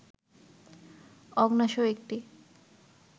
অগ্ন্যাশয় একটি